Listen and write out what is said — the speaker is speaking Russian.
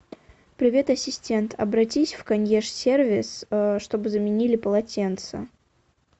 привет ассистент обратись в консьерж сервис чтобы заменили полотенца